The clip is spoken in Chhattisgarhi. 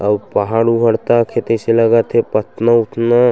अउ पहाड़ उहाड़ तक हे तइसे लगत हे पथना उथना--